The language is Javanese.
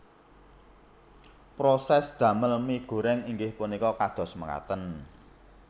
Prosès damel mie goreng inggih punika kados mekaten